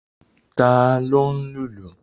Ta ló ń lùlù?